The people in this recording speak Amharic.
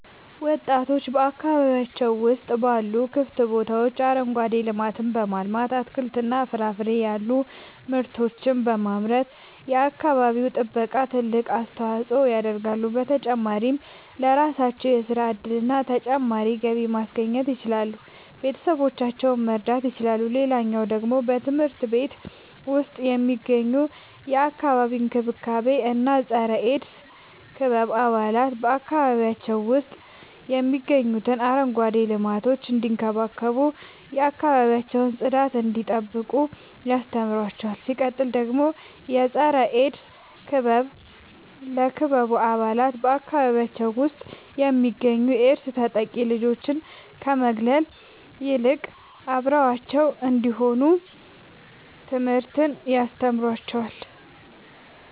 ወጣቶች በአካባቢያቸው ውስጥ ባሉ ክፍት ቦታዎች አረንጓዴ ልማትን በማልማት አትክልትና ፍራፍሬ ያሉ ምርቶችን በማምረት የአካባቢው ጥበቃ ትልቅ አስተዋጽኦ ያደርጋሉ። በተጨማሪም ለራሳቸው የሥራ እድልና ተጨማሪ ገቢ ማስገኘት ይችላሉ ቤተሰቦቻቸውን መርዳት ይችላሉ። ሌላኛው ደግሞ በትምህርት ቤት ውስጥ የሚገኙ የአካባቢ እንክብካቤ እና የፀረ -ኤድስ ክበብ አባላት በአካባቢያቸው ውስጥ የሚገኙትን አረንጓዴ ልማቶች እንዲንከባከቡ የአካባቢያቸውን ጽዳት እንዲጠብቁ ያስተምሯቸዋል። ሲቀጥል ደግሞ የፀረ-ኤድስ ክበብ ለክበቡ አባላት በአካባቢያቸው ውስጥ የሚገኙ የኤድስ ተጠቂ ልጆችን ከመግለል ይልቅ አብረዋቸው እንዲሆኑ ትምህርትን ያስተምራቸዋል።